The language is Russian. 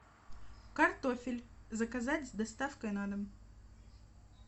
картофель заказать с доставкой на дом